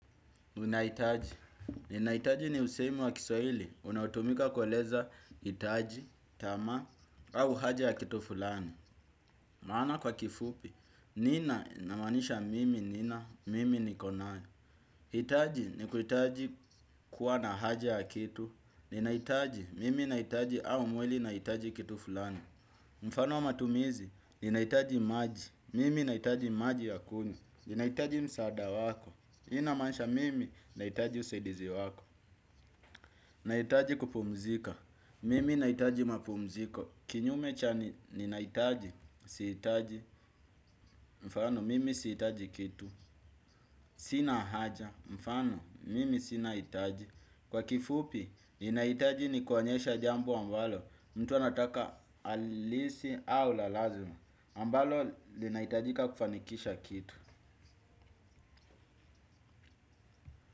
Unahitaji, ninahitaji ni usemi wa kiswahili, unaotumika kueleza hitaji, tamaa, au haja ya kitu fulani. Maana kwa kifupi, nina inamaanisha mimi nina, mimi niko nayo. Hitaji ni kuhitaji kuwa na haja ya kitu, ninahitaji, mimi nahitaji au mwili inahitaji kitu fulani. Mfano wa matumizi, ninahitaji maji, mimi nahitaji maji ya kuni, ninahitaji msaada wako. Hiyo inamaansha mimi, nahitaji usaidizi wako. Naitaji kupumzika, mimi naitaji mapumziko. Kinyume cha ninahitaji, sihitaji, mfano mimi sihitaji kitu. Sina haja, mfano mimi sina hitaji. Kwa kifupi, ninahitaji ni kuonyesha jambo ambalo, mtu anataka halisi au la lazima. Ambalo, linahitajika kufanikisha kitu.